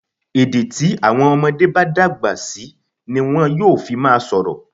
Èdè tí àwọn ọmọdé bá dàgbà ti wọn yóò máa fi sọ̀rọ̀.